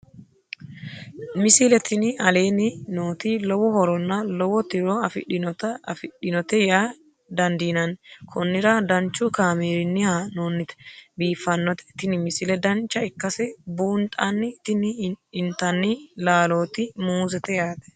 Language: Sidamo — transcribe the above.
misile tini aleenni nooti lowo horonna lowo tiro afidhinote yaa dandiinanni konnira danchu kaameerinni haa'noonnite biiffannote tini misile dancha ikkase buunxanni tini intanni laalooti muuzete yaate